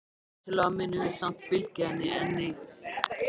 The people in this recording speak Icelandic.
Vissulega munum við samt fylgja henni enn um sinn.